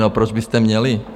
No, proč byste měli?